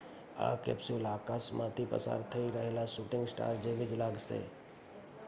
આ કેપ્સ્યુલ આકાશમાં થી પસાર થઈ રહેલા શૂટિંગ સ્ટાર જેવી જ લાગશે